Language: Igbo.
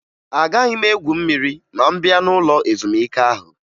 Agaghị m egwu mmiri ma m bịa n'ụlọ ezumike ahụ